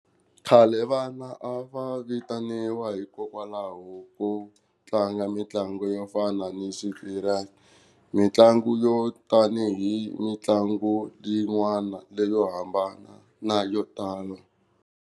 Khale vana a va vitaniwa hikokwalaho ko tlanga mitlangu yo fana ni mitlangu yo tanihi mitlangu leyin'wana leyo hambana na yo tala.